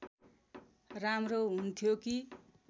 राम्रो हुन्थ्यो कि